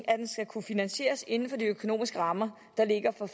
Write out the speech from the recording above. at den skal kunne finansieres inden for de økonomiske rammer der ligger for